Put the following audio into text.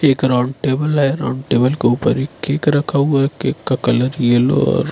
एक round table है round table के ऊपर एक केक रखा हुआ है केक का कलर येलो और--